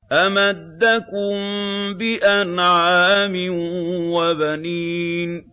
أَمَدَّكُم بِأَنْعَامٍ وَبَنِينَ